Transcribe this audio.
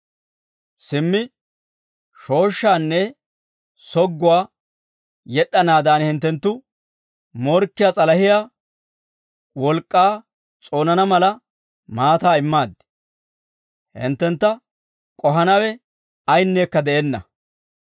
Simmi shooshshaanne sogguwaa yed'd'anaadan hinttenttu morkkiyaa s'alahiyaa wolk'k'aa s'oonana mala maataa immaaddi. Hinttentta k'ohanawe ayinneekka de'enna.